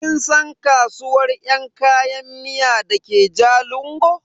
Kin san kasuwar yan kayan miya dake jalingo?